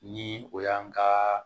Ni o y'an ka